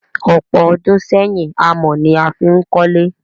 Ọ̀pọ̀ ọdún sẹ́yìn, amọ̀ ni a fí n kólé.